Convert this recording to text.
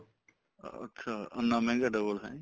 ਅੱਛਾ ਇੰਨਾ ਮਹਿੰਗਾ double ਜੀ